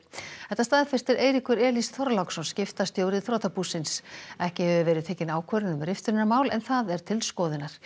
þetta staðfestir Eiríkur Elís Þorláksson skiptastjóri þrotabúsins ekki hefur verið tekin ákvörðun um riftunarmál en það er til skoðunar